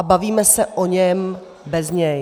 A bavíme se o něm bez něj.